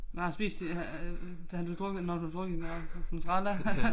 Når jeg har spist øh har du drukket når du har drukket en mozzarella